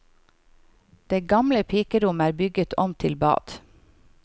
Det gamle pikerommet er bygget om til bad.